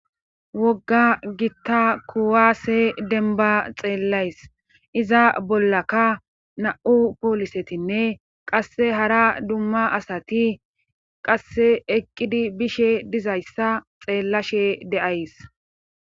wogga gitta kuwaase denba xeellays iza bollaka na7u poolisetinne qasse hara dumma asati qasse eqqidi bishe dizayssa xeellashe de7ays